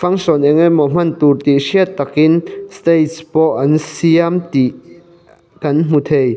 fangsawn eng emaw hman tûr tih hriat takin steich pawh an siam tih kan hmu thei.